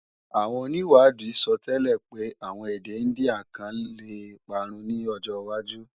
Àwọn onìwádìí sọtẹ́lẹ̀ pé àwọn èdè Índíà kan lè parun ní ọjọwájú